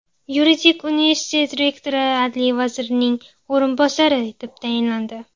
Yuridik universitet rektori adliya vazirining o‘rinbosari etib tayinlandi.